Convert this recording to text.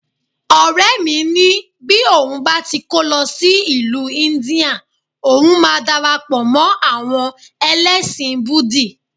Ọ̀rẹ́ mi ni bí òun bá ti kó lọ sí ìlú India, ohun máa darapọ̀ mọ́ àwọn ẹlẹ́sìn búdì